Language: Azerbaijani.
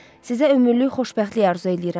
Sizə ömürlük xoşbəxtlik arzu eləyirəm.